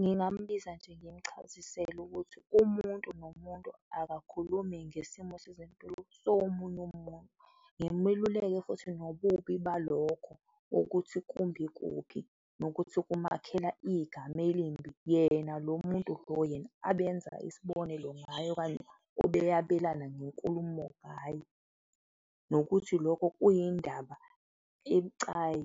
Ngingambiza nje, ngimuchazisele ukuthi umuntu nomuntu akakhulumi ngesimo sezempilo somunye umuntu ngimeluleke futhi nobubi balokho ukuthi kumbi kuphi nokuthi kumakhela igama elimbi yena lo muntu lo yena abenza isibonelo ngaye okanye obeyabelana ngenkulumo ngaye nokuthi lokho kuyindaba ebucayi